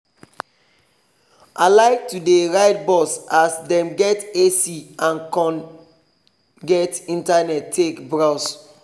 i like to dey ride bus as dem get ac and con get internet take browse